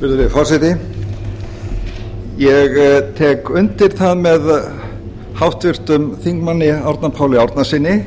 virðulegi forseti ég tek undir það með háttvirtum þingmanni árna páli árnasyni